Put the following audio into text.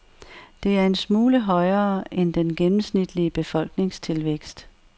Det er en smule højere end den gennemsnitlige befolkningstilvækst.